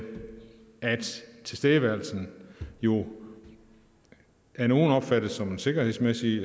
at tilstedeværelsen jo af nogle opfattes som en sikkerhedsmæssig